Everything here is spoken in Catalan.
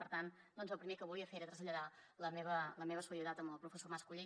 per tant el primer que volia fer era traslladar la meva solidaritat amb el professor mas colell